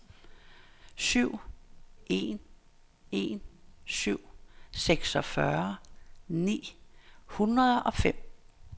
syv en en syv seksogfyrre ni hundrede og fem